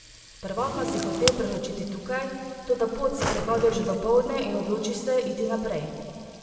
Prvotno si hotel prenočiti tukaj, toda pot si prehodil že dopoldne in odločiš se iti naprej.